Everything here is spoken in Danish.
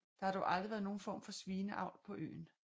Der har dog aldrig været nogen form for svineavl på øen